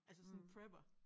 Altså sådan prepper